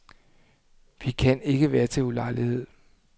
Vi kan ikke være til ulejlighed.